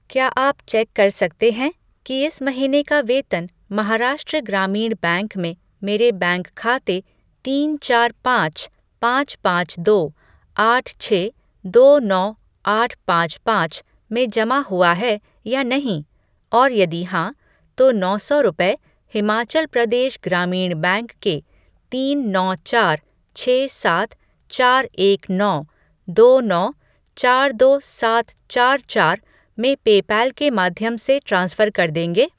क्या आप चेक कर सकते हैं कि इस महीने का वेतन महाराष्ट्र ग्रामीण बैंक में मेरे बैंक खाते तीन चार पाँच पाँच पाँच दो आठ छः दो नौ आठ पाँच पाँच में जमा हुआ है या नहीं और यदि हाँ, तो नौ सौ रुपये हिमाचल प्रदेश ग्रामीण बैंक के तीन नौ चार छः सात चार एक नौ दो नौ चार दो सात चार चार में पेपैल के माध्यम से ट्रांसफ़र कर देंगे?